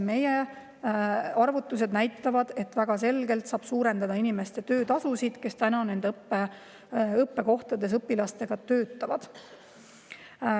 Meie arvutused näitavad, et väga selgelt saab suurendada nende inimeste töötasusid, kes nendes õppekohtades õpilastega töötavad.